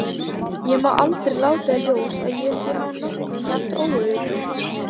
Ég má aldrei láta í ljós að ég sé á nokkurn hátt óörugg.